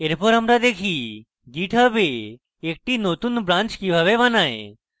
এরপর আমরা দেখি github a একটি নতুন branch কিভাবে বানায়